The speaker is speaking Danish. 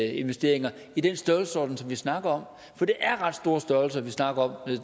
investeringer i den størrelsesorden som vi snakker om for det er ret store størrelser vi snakker om